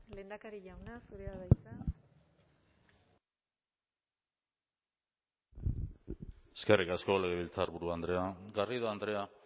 lehendakari jauna zurea da hitza eskerrik asko legebiltzarburu andrea garrido andrea